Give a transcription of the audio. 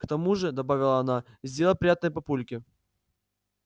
к тому же добавила она сделай приятное папульке